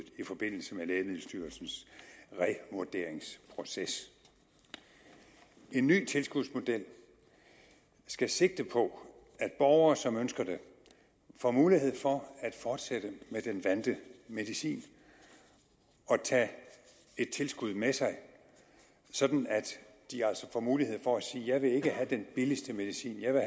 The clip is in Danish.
i forbindelse med lægemiddelstyrelsens revurderingsproces en ny tilskudsmodel skal sigte på at borgere som ønsker det får mulighed for at fortsætte med den vante medicin og tage et tilskud med sig sådan at de altså får mulighed for at sige jeg vil ikke have den billigste medicin jeg vil